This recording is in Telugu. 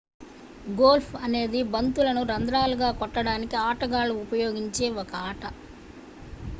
గోల్ఫ్ అనేది బంతులను రంధ్రాలు గా కొట్టడానికి ఆటగాళ్ళు ఉపయోగించే ఒక ఆట